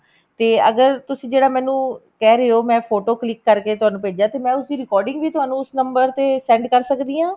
ਤੇ ਅਗਰ ਤੁਸੀਂ ਜਿਹੜਾ ਮੈਨੂੰ ਕਹਿ ਰਹੇ ਹੋ ਮੈਂ photo click ਕਰਕੇ ਤੁਹਾਨੂੰ ਭੇਜਾ ਤੇ ਮੈਂ ਉਸਦੀ recording ਹੀ ਤੁਹਾਨੂੰ ਉਸ number ਤੇ send ਕਰ ਸਕਦੀ ਹਾਂ